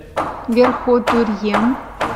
верхотурьем